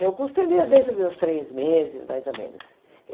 Meu curso termina dentro de uns três meses, mais ou menos.